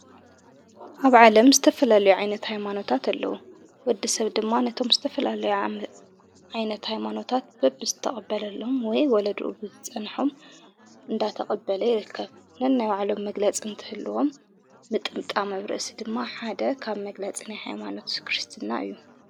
ኣብ ዓለም ዝተፍላለዮ ዓይነት ኣይማኖታት ኣለዉ ወዲ ሰብ ድማ ነቶም ዝተፈላለዮዓ ዓይነት ኣይማኖታት በብ ዝተቐበለለም ወይ ወለድኡ ብዝጸንሑም እንዳተቐበለ የልከፍ ነናይውዓሎም መግለጽ እንትህልዎም ምጥምጣ መብርእሲ ድማ ሓደ ካብ መግላጽን ኃይማኖትስ ክርስትና እዩ።